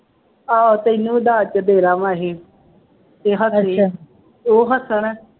ਆਹੋ ਤੈਨੂੰ ਦਾਜ ਚ ਦੇਣਾ ਵਾ ਇਹ, ਕਿਹਾ ਤਾਂ ਐਵੇਂ, ਉਹ ਹੱਸਣ